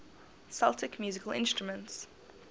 celtic musical instruments